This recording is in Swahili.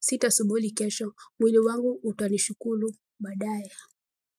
sitasubuli kesho. Mwili wangu utanishukulu, baadaye.